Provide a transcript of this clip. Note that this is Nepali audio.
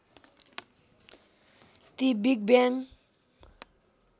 ती बिग ब्याङ